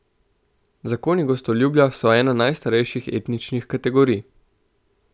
Zakoni gostoljubja so ena najstarejših etičnih kategorij.